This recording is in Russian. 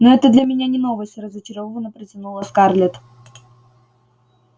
ну это для меня не новость разочарованно протянула скарлетт